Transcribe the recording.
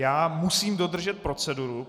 Já musím dodržet proceduru.